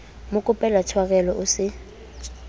mo kopela tshwarelo o se